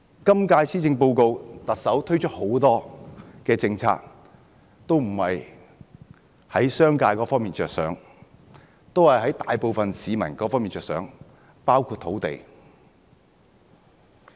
今屆施政報告中，特首推出的很多政策都不是從商界的角度着想，而是從大部分市民的角度着想，包括土地。